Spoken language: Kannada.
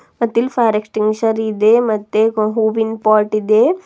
ಮತ್ತಿಲ್ ಫೈರ್ ಎಕ್ಸ್ಟಿನ್ಗ್ವಿಶರ್ ಇದೆ ಮತ್ತೆ ಒಂದ್ ಹೂವಿನ್ ಪಾಟ್ ಇದೆ.